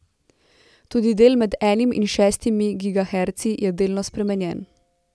Tudi del med enim in šestimi gigaherci je delno spremenjen.